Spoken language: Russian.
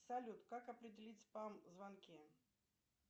салют как определить спам звонки